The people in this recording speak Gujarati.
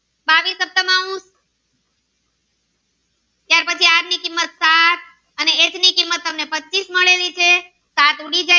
ત્યાર પછી આર ની કિંમત સાત અને એક ની કિંમત તમને પચીસ મળેલી છે સાત ઉડી જાય